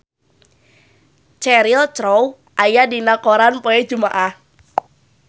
Cheryl Crow aya dina koran poe Jumaah